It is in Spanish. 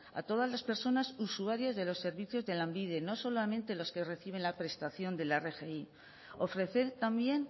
a todas las personas usuarias de los servicios de lanbide no solamente los que reciben la prestación de la rgi ofrecer también